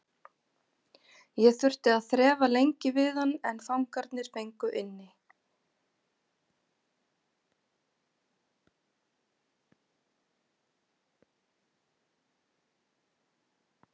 Ég þurfti að þrefa lengi við hann en fangarnir fengu inni.